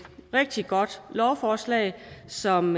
rigtig godt lovforslag som